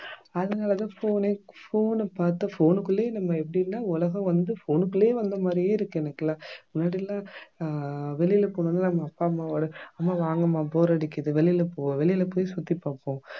அதனால தான் phone ஏ phone அ பாத்தா phone குள்ளயே நம்ம எப்படின்னா உலகம் வந்து phone குள்ளயே வந்த மாதிரியே இருக்கு எனக்கெல்லாம் முன்னாடி எல்லாம் அஹ் வெளியில போணும்னா நம்ம அப்பா அம்மாவோட அம்மா வாங்க அம்மா bore அடிக்குது வெளியில போ வெளியில போய் சுத்தி பாப்போம்